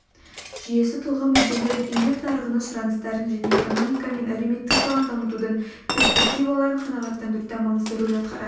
жүйесі тұлға мүдделерін еңбек нарығының сұраныстарын және экономика мен әлеуметтік саланы дамытудың перспективаларын қанағаттандыруда маңызды рөл атқарады